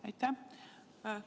Aitäh!